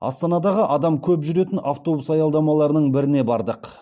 астанадағы адам көп жүретін автобус аялдамаларының біріне бардық